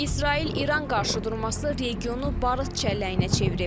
İsrail-İran qarşıdurması regionu barıt çəlləyinə çevirib.